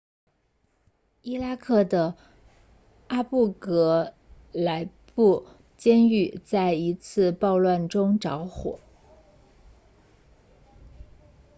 伊拉克的阿布格莱布监狱在一次暴乱中着火